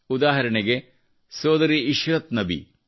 ಉದಾಹರಣೆಗೆ ಸೋದರಿ ಇಶ್ರತ್ ನಬಿ